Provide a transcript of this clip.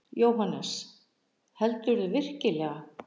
JÓHANNES: Heldurðu virkilega.